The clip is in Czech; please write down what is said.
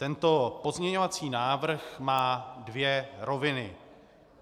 Tento pozměňovací návrh má dvě roviny.